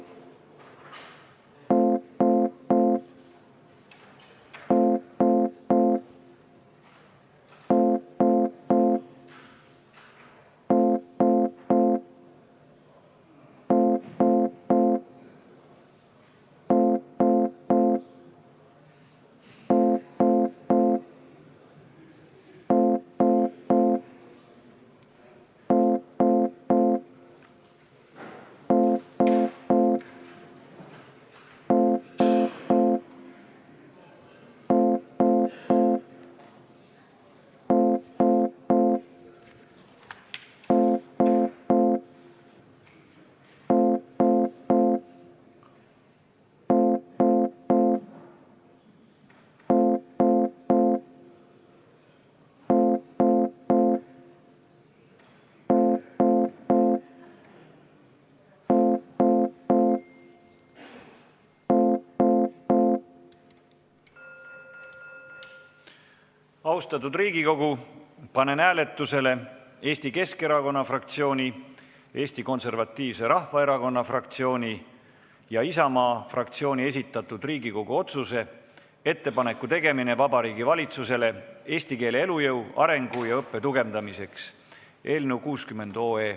Austatud Riigikogu, panen hääletusele Eesti Keskerakonna fraktsiooni, Eesti Konservatiivse Rahvaerakonna fraktsiooni ja Isamaa fraktsiooni esitatud Riigikogu otsuse "Ettepaneku tegemine Vabariigi Valitsusele eesti keele elujõu, arengu ja õppe tugevdamiseks" eelnõu 60.